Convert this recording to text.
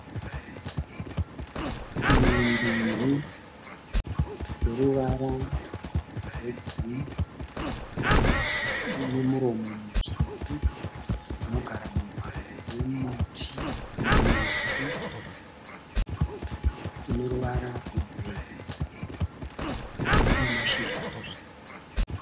Shiri mbiri dzine ruvara rwegirini. Dzine muromo mutsvuku. Dzinogara mumhango yemiti murefu une ruvara rwegireyi asi une mashizha akasvibira.